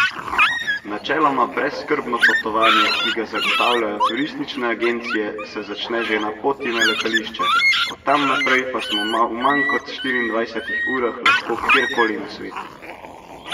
Načeloma brezskrbno potovanje, ki ga zagotavljajo turistične agencije, se začne že na poti na letališče, od tam naprej pa smo v manj kot štiriindvajsetih urah lahko kjer koli na svetu.